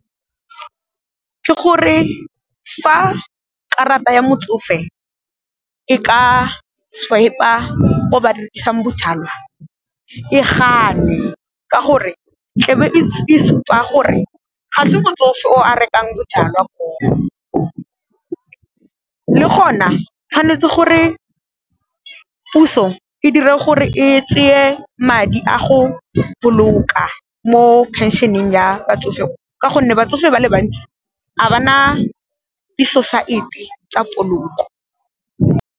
Ke gore fa karata ya motsofe e ka swiper-a ko ba rekisang bojalwa e gane ka gore, tla be e supa gore ga se motsofe o a rekang bojalwa koo. Le gona tshwanetse gore puso e dire gore e tseye madi a go boloka mo phenšeneng ya batsofe go ka gonne batsofe ba le bantsi ga ba na di-society tsa poloko.